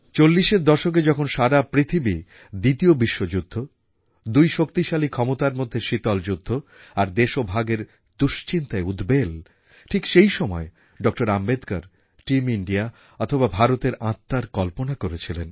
১৯৪০ এর দশকে যখন সারা পৃথিবী দ্বিতীয় বিশ্বযুদ্ধ দুই শক্তিশালী ক্ষমতার মধ্যে শীতল যুদ্ধ আর দেশভাগের দুশ্চিন্তায় উদ্বেল ঠিক সেইসময়ে ডক্টর আম্বেদকর টিম ইন্ডিয়া অথবা ভারতের আত্মার কল্পনা করেছিলেন